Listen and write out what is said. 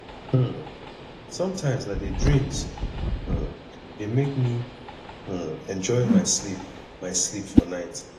um sometimes na di dreams um dey make me um enjoy my sleep my sleep for night